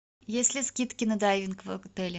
есть ли скидки на дайвинг в отеле